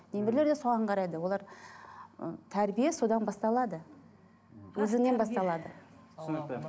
немерелер де соған қарайды олар ы тәрбие содан басталады өзіңнен басталады түсінікті